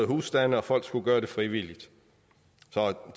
husstande og folk skulle gøre det frivilligt